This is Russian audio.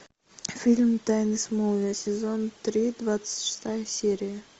фильм тайны смолвиля сезон три двадцать шестая серия